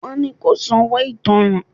Wọ́n ni kó sanwó ìtánràn.